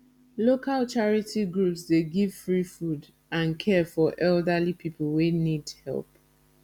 local charity groups dey give free food and care for elderly people wey need help